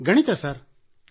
ಗಣಿತ ಮ್ಯಾಥಮೆಟಿಕ್ಸ್